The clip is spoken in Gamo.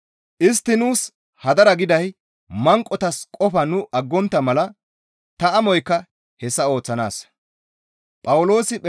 Istti nuus hadara giday manqotas qofa nu aggontta mala; ta amoykka hessa ooththanaassa.